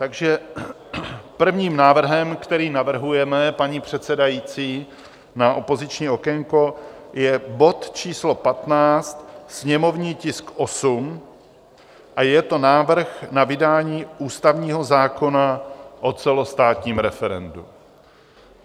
Takže prvním návrhem, který navrhujeme, paní předsedající, na opoziční okénko je bod číslo 15, sněmovní tisk 8, a je to návrh na vydání ústavního zákona o celostátním referendu.